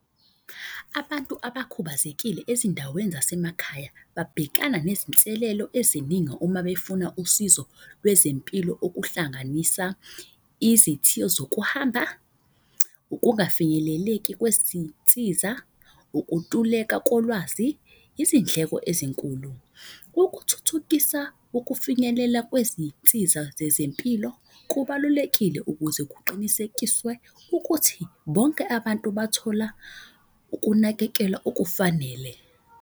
Abantu abakhubazekile ezindaweni zasemakhaya babhekana nezinselelo ezininga uma befuna usizo lwezempilo. Okuhlanganisa izithiyo zokuhamba, ukungafinyeleleki kwezinsiza, ukuntuleka kolwazi, izindleko ezinkulu. Ukuthuthukisa ukufinyelela kwezinsiza zezempilo kubalulekile ukuze kuqinisekiswe ukuthi bonke abantu bathola ukunakekelwa okufanele.